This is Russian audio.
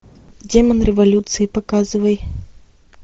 демон революции показывай